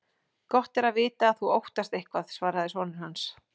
Gott er að vita að þú óttast eitthvað, svaraði sonur hans.